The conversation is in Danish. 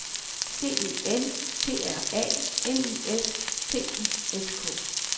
C E N T R A L I S T I S K